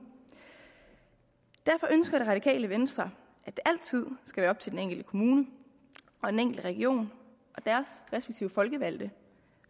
derfor ønsker det radikale venstre at det altid skal være op til den enkelte kommune og den enkelte region og deres respektive folkevalgte